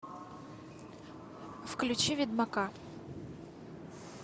включи ведьмака